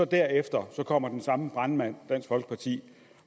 derefter kommer den samme brandmand dansk folkeparti